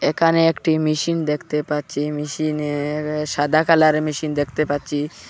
এখানে একটি মেশিন দেখতে পাচ্ছি মেশিনের সাদা কালারের মেশিন দেখতে পাচ্ছি।